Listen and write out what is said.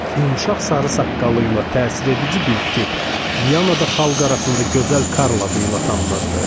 Yumşaq sarı saqqalıyla təsir edici bir tip Vyanada xalq arasında gözəl Karl adıyla tanınırdı.